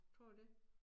Tror du det?